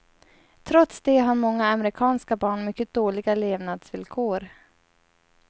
Trots det har många amerikanska barn mycket dåliga levnadsvillkor.